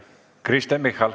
Kristen Michal.